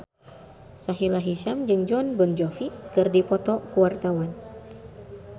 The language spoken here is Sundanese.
Sahila Hisyam jeung Jon Bon Jovi keur dipoto ku wartawan